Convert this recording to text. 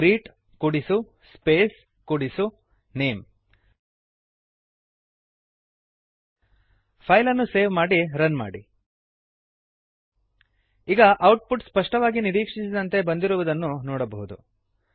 greet ಕೂಡಿಸು space ಕೂಡಿಸು name ಫೈಲನ್ನು ಸೇವ್ ಮಾಡಿ ರನ್ ಮಾಡಿ ಈಗ ಔಟ್ ಪುಟ್ ಸ್ಪಷ್ಟವಾಗಿ ನಿರೀಕ್ಷಿಸಿದಂತೆ ಬಂದಿರುವುದನ್ನು ನೋಡಬಹುದು